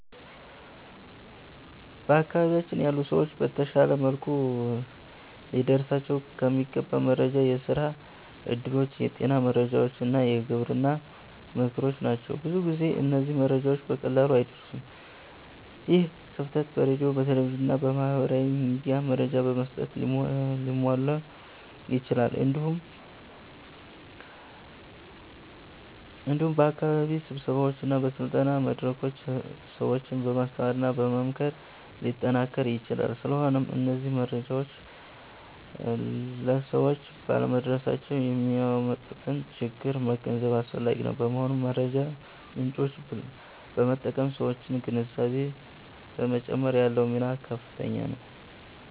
በአካባቢያችን ያሉ ሰዎች በተሻለ መልኩ ሊደርሳቸው የሚገባ መረጃ የስራ እድሎች፣ የጤና መረጃዎች እና የግብርና ምክሮች ናቸው። ብዙ ጊዜ እነዚህ መረጃዎች በቀላሉ አይደርሱም። ይህ ክፍተት በሬዲዮ፣ በቴሌቪዥን እና በማህበራዊ ሚዲያ መረጃ በመስጠት ሊሟላ ይችላል። እንዲሁም በአካባቢ ስብሰባዎች እና በስልጠና መድረኮች ሰዎችን በማስተማርና በመምከር ሊጠናከር ይችላል። ስለሆነም እነዚህ መረጃዎች ለሰዎች ባለመድረሳቸው የሚያመጡትን ችግር መገንዘብ አስፈላጊ ነው። በመሆኑም የመረጃ ምጮችን በመጠቀም የሠዎችን ግንዛቤ በመጨመር ያለው ሚና ከፍተኛ ነው።